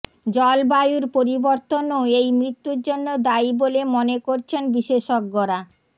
জলবায়ুর পরিবর্তনও এই মৃত্যুর জন্য দায়ী বলে মনে করছেন বিশেষজ্ঞরা